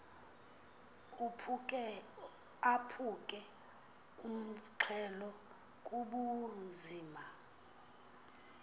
aphuke umxhelo bubunzima